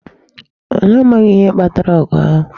Anyị amaghị ihe kpatara ogu ahu